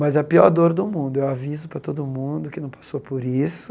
Mas a pior dor do mundo, eu aviso para todo mundo que não passou por isso,